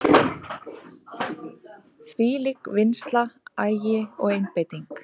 Þvílík vinnsla, agi og einbeiting.